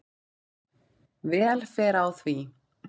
Vel fer á því.